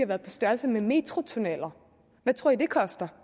været på størrelse med metrotunneller hvad tror i det koster